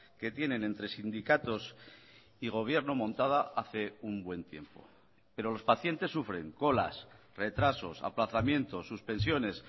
que tienen entre sindicatos y gobierno montada hace un buen tiempo pero los pacientes sufren colas retrasos aplazamientos suspensiones